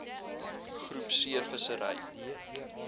groep c vissery